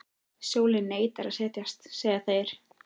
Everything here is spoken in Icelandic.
Sólin neitar að setjast, segja þeir.